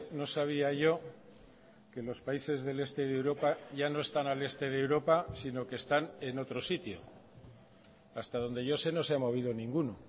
no sabía yo que los países del este de europa ya no están al este de europa sino que están en otro sitio hasta donde yo sé no se ha movido ninguno